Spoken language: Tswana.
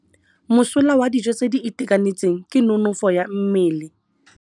Mosola wa dijô tse di itekanetseng ke nonôfô ya mmele.